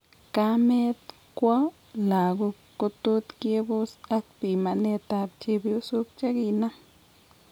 Kamet kwo lagok kotot kebos ak pimanet ab chepyosok cheginam